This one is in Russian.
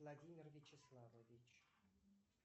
владимир вячеславович